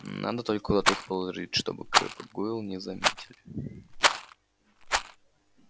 надо только куда-то их подложить чтобы крэбб и гойл не заметили